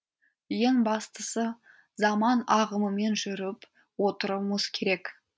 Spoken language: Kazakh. ең бастысы заман ағымымен жүріп отыруымыз керек